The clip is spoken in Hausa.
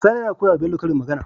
Sani yAna koyawa Bello karin magAna